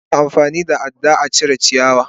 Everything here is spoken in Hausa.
Ana amfani da ada a cire ciyawa.